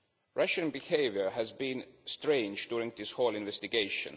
Russia's behaviour has been strange during this whole investigation.